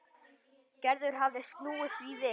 Gerður hafði snúið því við.